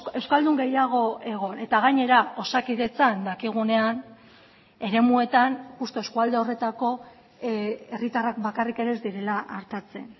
euskaldun gehiago egon eta gainera osakidetzan dakigunean eremuetan justu eskualde horretako herritarrak bakarrik ere ez direla artatzen